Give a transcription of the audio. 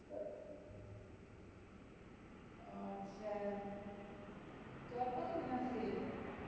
ওহ আচ্ছা তো আর কত দিন আছে